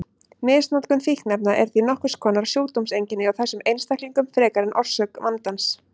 Misnotkun fíkniefna er því nokkurs konar sjúkdómseinkenni hjá þessum einstaklingum frekar en orsök vandans.